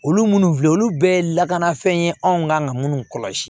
Olu minnu filɛ olu bɛɛ ye lakanafɛn ye anw ka minnu kɔlɔsi